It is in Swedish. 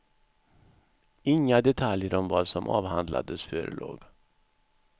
Inga detaljer om vad som avhandlades förelåg.